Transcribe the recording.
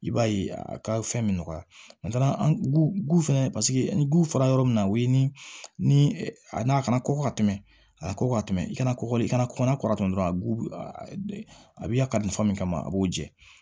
I b'a ye a ka fɛn bɛ nɔgɔya an fɛnɛ paseke ni guwefara yɔrɔ min na o ye ni a kana kɔkɔ ka tɛmɛ a ka kɔkɔ tɛ kɔkɔ de i kana kɔ n'a kɔrɔtɔ dɔrɔn a bi ya ka kalifa min kama a b'o jɛ